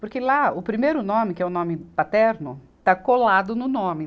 Porque lá, o primeiro nome, que é o nome paterno, está colado no nome.